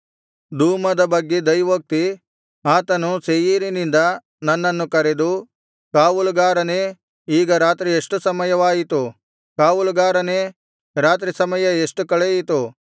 ದೂಮದ ಬಗ್ಗೆ ದೈವೋಕ್ತಿ ಆತನು ಸೇಯೀರಿನಿಂದ ನನ್ನನ್ನು ಕರೆದು ಕಾವಲುಗಾರನೇ ಈಗ ರಾತ್ರಿ ಎಷ್ಟು ಸಮಯವಾಯಿತು ಕಾವಲುಗಾರನೇ ರಾತ್ರಿ ಸಮಯ ಎಷ್ಟು ಕಳೆಯಿತು